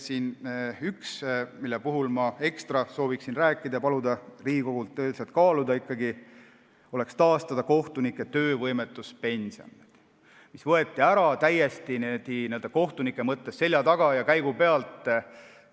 Üks asi, millest ma ekstra soovin rääkida ja mida palun Riigikogul kaaluda, on see, et taastataks kohtunike töövõimetuspension, mis võeti ära kohtunike seljataga ja käigu pealt.